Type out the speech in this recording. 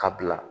Ka bila